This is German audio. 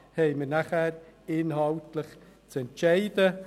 Darüber haben wir nachher inhaltlich zu entscheiden.